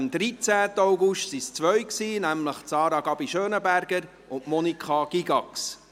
Am 13. August waren es zwei, nämlich Sarah Gabi Schönenberger und Monika Gygax.